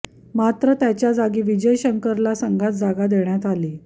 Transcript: मात्र त्याच्या जागी विजय शंकरला संघात जागा देण्यात आली